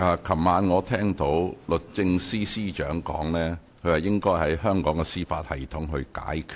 昨晚我聽到律政司司長說，問題應該在香港的司法系統內解決。